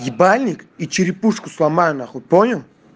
ебальник и черепушку сломаю нахуй понял